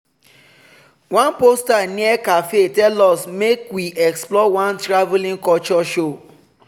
one poster near café tell us make we explore one travelling culture show.